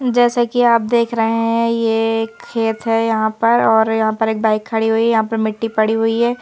जैसे कि आप देख रहे हैं ये खेत हैं यहाँ पर और यहाँ पर एक बाइक खड़ी हुई हैं यहाँ पर मिट्टी पड़ी हुई हैं।